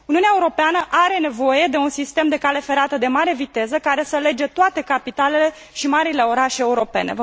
Uniunea Europeană are nevoie de un sistem de cale ferată de mare viteză care să lege toate capitalele și marile orașe europene.